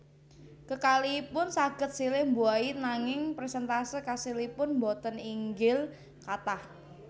Kekalihipun saged silih mbuahi nanging perséntase kasilipun boten inggil kathah